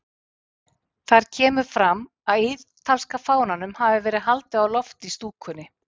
Þar kemur fram að ítalska fánanum hafi verið haldið á lofti í stúkunni.